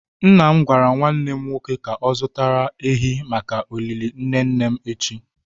Nna m gwara nwanne m nwoke ka o zutara ehi maka olili nne nne m echi.